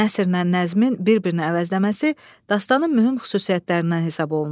Nəsrlə nəzmin bir-birini əvəzləməsi dastanən mühüm xüsusiyyətlərindən hesab olunur.